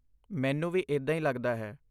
ਮੈਨੂੰ ਵੀ ਇੱਦਾਂ ਹੀ ਲੱਗਦਾ ਹੈ।